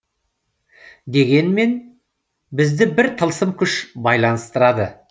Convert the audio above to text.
дегенмен бізді бір тылсым күш байланыстырады